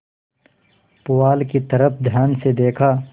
पुआल की तरफ ध्यान से देखा